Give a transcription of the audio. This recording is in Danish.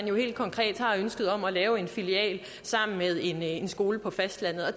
jo helt konkret har ønsket om at lave en filial af en skole på fastlandet og